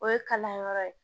O ye kalanyɔrɔ ye